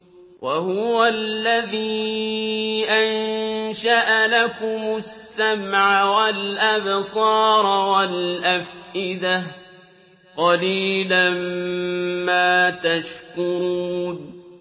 وَهُوَ الَّذِي أَنشَأَ لَكُمُ السَّمْعَ وَالْأَبْصَارَ وَالْأَفْئِدَةَ ۚ قَلِيلًا مَّا تَشْكُرُونَ